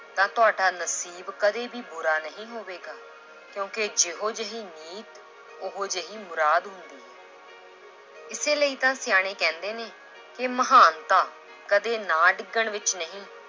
ਤਾਂ ਤੁਹਾਡਾ ਨਸੀਬ ਕਦੇ ਵੀ ਬੁਰਾ ਨਹੀਂ ਹੋਵੇਗਾ ਕਿਉਂਕਿ ਜਿਹੋ ਜਿਹੀ ਨੀਤ ਉਹ ਜਿਹੀ ਮੁਰਾਦ ਹੁੰਦੀ ਹੈ l ਇਸੇ ਲਈ ਤਾਂ ਸਿਆਣੇ ਕਹਿੰਦੇ ਨੇ ਕਿ ਮਹਾਨਤਾ ਕਦੇ ਨਾ ਡਿੱਗਣ ਵਿੱਚ ਨਹੀਂ